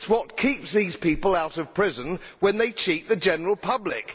It is what keeps these people out of prison when they cheat the general public.